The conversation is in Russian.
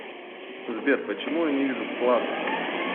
сбер почему я не вижу вклады